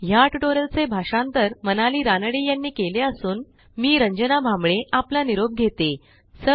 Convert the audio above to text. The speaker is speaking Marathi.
ह्या ट्युटोरियलचे भाषांतर मनाली रानडे यांनी केले असून मी आपला निरोप घेते160